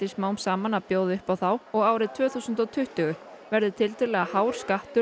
smám saman að bjóða upp á þá og árið tvö þúsund og tuttugu verði tiltölulega hár skattur